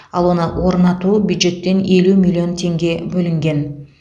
ал оны орнатуға бюджеттен елу миллион теңге бөлінген